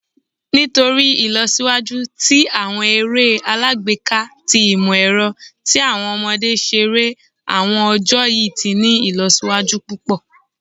Nitori Ilọsiwaju ti awọn ere alagbeka ti imọ-ẹrọ ti awọn ọmọde ṣere awọn ọjọ yii ti ni ilọsiwaju pupọ